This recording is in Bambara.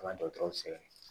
An ka dɔkɔtɔrɔw sɛbɛn